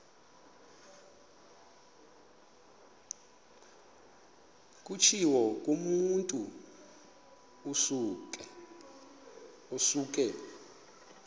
kutshiwo kumotu osuke